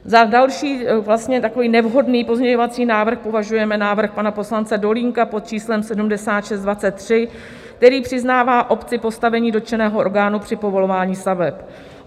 Za další takový nevhodný pozměňovací návrh považujeme návrh pana poslance Dolínka pod číslem 7623, který přiznává obci postavení dotčeného orgánu při povolování staveb.